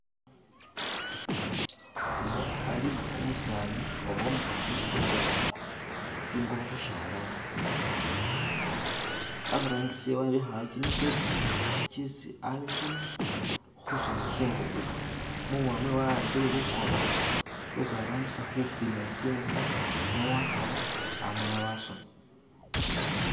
uno ali umusani oba umuhasi usona tsingubo hushalani aburangisi wabihawo chimitalisa chesi alusamu husuna tsingubo muhono mwewe awambile luhoba lwesi arambisa hupimila tsingubo nowahala amala wasona